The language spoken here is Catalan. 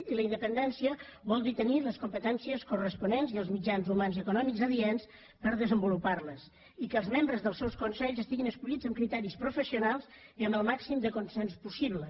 i la independència vol dir tenir les competències corresponents i els mitjans humans i econòmics adients per desenvolupar les i que els membres dels seus consells siguin escollits amb criteris professionals i amb el màxim de consens possible